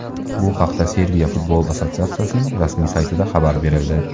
Bu haqda Serbiya futbol assotsiatsiyaning rasmiy saytida xabar berildi .